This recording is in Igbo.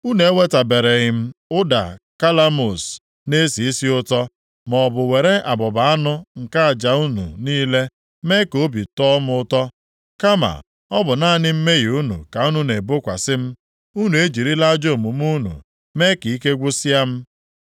Unu ewetabereghị m ụda kalamus na-esi isi ụtọ, maọbụ were abụba anụ nke aja unu niile mee ka obi tọọ m ụtọ. Kama ọ bụ naanị mmehie unu ka unu na-ebokwasị m, unu ejirila ajọ omume unu mee ka ike gwụsịa m.